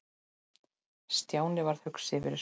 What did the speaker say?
Stjáni varð hugsi yfir þessu.